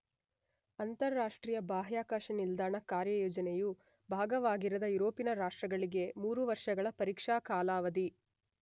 ಅಂತರರಾಷ್ಟ್ರೀಯ ಬಾಹ್ಯಾಕಾಶ ನಿಲ್ದಾಣ ಕಾರ್ಯಯೋಜನೆಯ ಭಾಗವಾಗಿರದ ಯುರೋಪಿನ ರಾಷ್ಟ್ರಗಳಿಗೆ ಮೂರುವರ್ಷಗಳ ಪರೀಕ್ಷಾ ಕಾಲಾವಧಿ